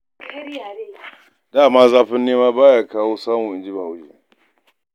Da man "zafin nema ba ya kawo samu" in ji Bahaushe.